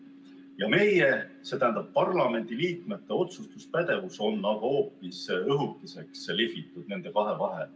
Ja meie, st parlamendiliikmete otsustuspädevus on hoopis õhukeseks lihvitud nende kahe vahe.